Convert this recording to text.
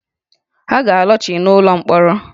Ha ga-alọghachi n’ụlọ mkpọrọ